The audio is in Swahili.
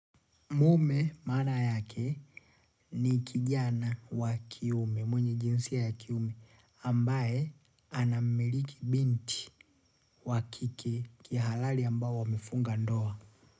Mume mana yake ni kijana wa kiume, mwenye jinsia ya kiume, ambaye anamiliki binti wa kike kihalali ambao wamefunga ndoa.